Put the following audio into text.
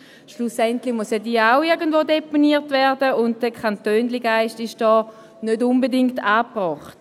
Schlussendlich muss diese ja auch irgendwo deponiert werden, und dieser Kantönchengeist ist hier nicht unbedingt angebracht.